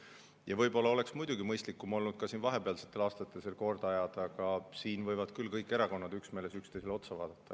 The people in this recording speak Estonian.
Muidugi, võib-olla oleks olnud mõistlikum vahepealsetel aastatel see korda ajada, aga siinkohal võivad küll kõik erakonnad üksmeeles üksteisele otsa vaadata.